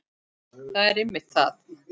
Það er einmitt það.